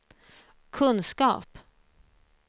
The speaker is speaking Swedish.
kunskap